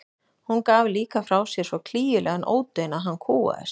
Hún gaf líka frá sér svo klígjulegan ódaun að hann kúgaðist.